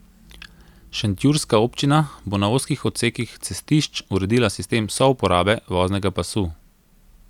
Šentjurska občina bo na ozkih odsekih cestišč uredila sistem souporabe voznega pasu.